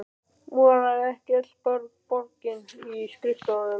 Moraði ekki öll borgin í skrifstofum?